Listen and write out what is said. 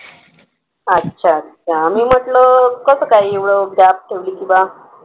अच्छा अच्छा मी म्हंटल कसं एवढं gap ठेवली किंवा